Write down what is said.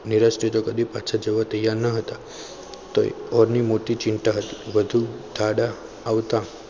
નિરાશ્રી તો પાછા જવા તૈયાર ન હતા તો એ મોટી ચિંતા હતી દેશ તાડા આવતા